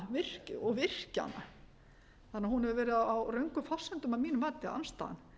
lóna og virkjana þannig að hún hefur verið á röngum forsendum að mínu mati andstaðan